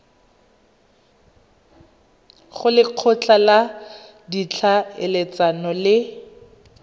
go lekgotla la ditlhaeletsano le